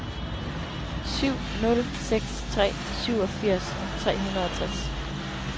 syv nul seks tre syvogfirs tre hundrede og tres